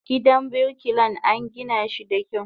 Gidan birkilan angina shi da kyau.